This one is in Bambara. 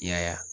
I y'a ye